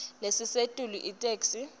lelisetulu itheksthi